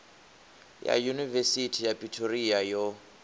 ya yunivesithi ya pretoria yo